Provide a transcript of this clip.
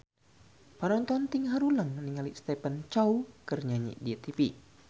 Panonton ting haruleng ningali Stephen Chow keur nyanyi di tipi